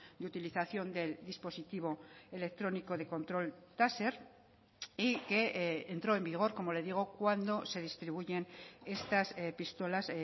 de utilización del dispositivo electrónico de control taser y que entró en vigor como le digo cuando se distribuyen estas pistolas